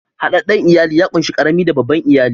Hadadden iyali ya kunshi karami da babban iyali.